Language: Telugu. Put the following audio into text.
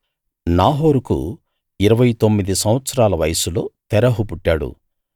నాహోరుకు ఇరవై తొమ్మిది సంవత్సరాల వయస్సులో తెరహు పుట్టాడు